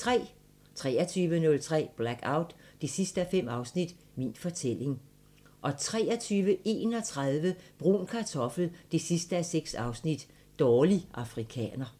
23:03: Blackout 5:5 – Min fortælling 23:31: Brun Kartoffel 6:6 – Dårlig afrikaner